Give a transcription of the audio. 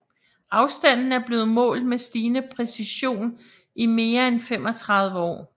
Afstanden er blevet målt med stigende præcision i mere end 35 år